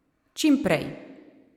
Čim prej!